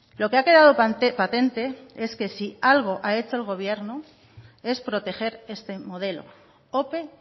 lo que ha quedado patente es que si algo ha hecho el gobierno es proteger este modelo ope